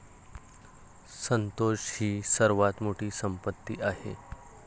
संतोष ही सर्वात मोठी संपत्ती आहे,